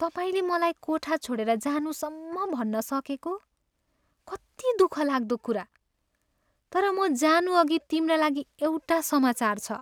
तिमीले मलाई कोठा छोडेर जानुसम्म भन्न सकेको? कति दुःखलाग्दो कुरा! तर म जानुअघि तिम्रा लागि एउटा समाचार छ।